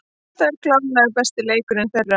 Þetta var klárlega besti leikurinn þeirra.